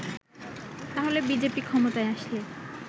তাহলে বিজেপি ক্ষমতায় আসলে